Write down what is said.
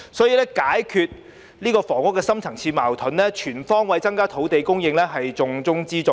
因此，要解決這個房屋方面的深層次矛盾，全方位增加土地供應是重中之重。